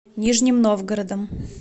нижним новгородом